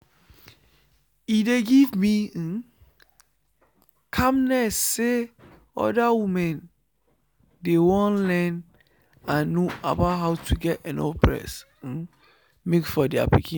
e dey give me um calmness say other women dey won learn and know about how to get enough breast um milk for there pikin.